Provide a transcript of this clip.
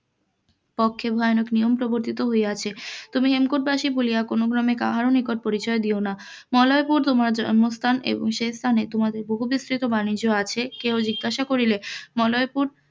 ও খেলাপ নিয়ম প্রবর্তিত হইয়াছে, তুমি হেমকূট বাসি বলিয়া কোন গ্রামে কাহার নিকট পরিচয় দিও না, মলয়পুরে তোমার জন্মস্থান এবং সেস্থানে তোমাদের বহু বিস্তৃত বাণিজ্য আচে কেহ জিজ্ঞাসা করিলে মলয়পুর,